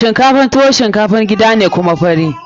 Shinkafan tuwo shinkafan gida ne kuma fari.